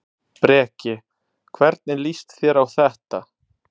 Breki: Hvernig líst þér á þetta?